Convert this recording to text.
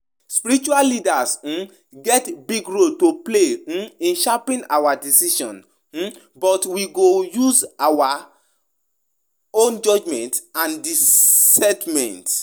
When we allow spiritual authority to control our decisions, we dey risk losing our sense and choices.